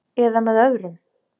. eða með öðrum